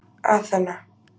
Aþena